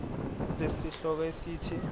lesi sihloko esithi